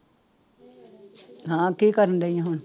ਹਾਂ ਕੀ ਕਰਨਡਈ ਹੈ ਹੁਣ?